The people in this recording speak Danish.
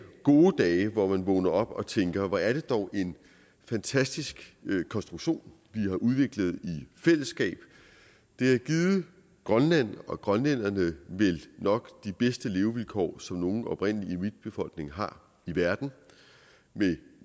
gode dage hvor man vågner op og tænker hvor er det dog en fantastisk konstruktion vi har udviklet i fællesskab det har givet grønland og grønlænderne vel nok de bedste levevilkår som nogen oprindelig inuitbefolkning har i verden med